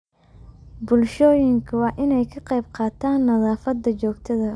Bulshooyinka waa in ay ka qayb qaataan nadaafadda joogtada ah.